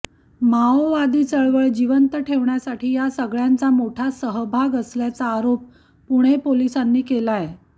माओवादी चळवळ जिवंत ठेवण्यासाठी या सगळ्यांचा मोठा सहभाग असल्याचा आरोप पुणे पोलिसांनी केलाय